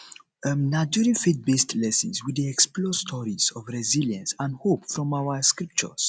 um na during faithbased lessons we dey explore stories of resilience and hope from our um scriptures